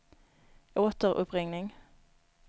återuppringning